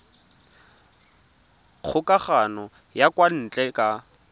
kgokagano ya kwa ntle ka